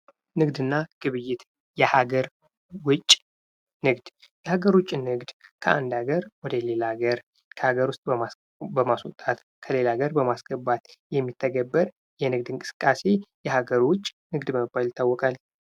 ንግድ እና ግብይት ። የሀገር ውጭ ንግድ ፡ የሀገር ውጭ ንግድ ከአንድ ሀገር ወደ ሌላ ሀገር ከሀገር ውስጥ በማስወጣት ከሌላ ሀገር በማስገባት የሚተገበር የንግድ እንቅስቃሴ የሀገር ውጭ ንግድ በመባል ይታወቃል ።